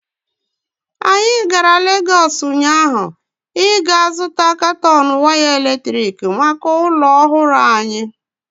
Anyị gara Legọs ụnyaahụ ịga zụta katọn waya eletrik maka ụlọ ọhụrụ anyị.